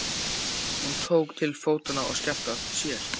Hún tók til fótanna og skellti á eftir sér.